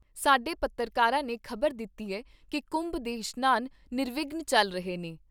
ਸਾਡੇ ਪੱਤਰਕਾਰ ਨੇ ਖ਼ਬਰ ਦਿੱਤੀ ਏ ਕਿ ਕੁੰਭ ਦੇ ਇਸ਼ਨਾਨ ਨਿਰਵਿਘਨ ਚੱਲ ਰਹੇ ਨੇ।